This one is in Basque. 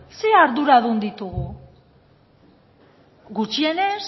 zein arduradun ditugu gutxienez